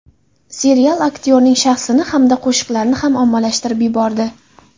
Serial aktyorning shaxsini hamda qo‘shiqlarini ham ommalashtirib yubordi.